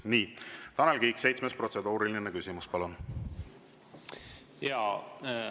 Nii, Tanel Kiik, seitsmes protseduuriline küsimus, palun!